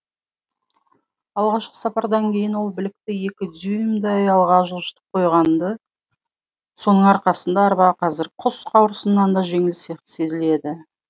алғашқы сапардан кейін ол білікті екі дюймдай алға жылжытып қойған ды соның арқасында арба қазір құс қауырсынынан да жеңіл сезіледі